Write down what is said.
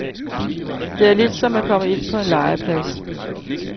Det er lidt som at komme ind på en legeplads.